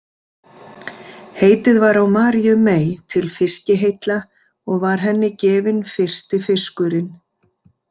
Heitið var á Maríu mey til fiskiheilla og var henni gefinn fyrsti fiskurinn.